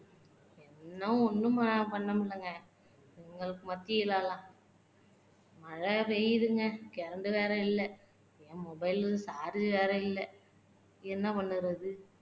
என்ன ஒண்ணும் பண்ண முடியலங்க இதுங்களுக்கு மத்தியில எல்லாம் மழை பெய்யுதுங்க current வேற இல்ல. என் mobile charge வேற இல்ல. என்ன பண்ணுறது